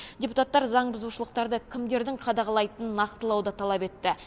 депутаттар заңбұзушылықтарды кімдердің қадағалайтынын нақтылауды талап етті